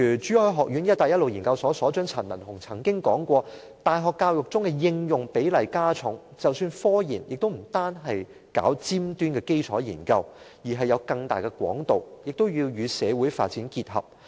珠海學院一帶一路研究所所長陳文鴻教授曾經指出，大學教育中的應用比例加重，即使科研也不是單單搞尖端的基礎研究，而是有更大的廣度，也要與社會發展結合。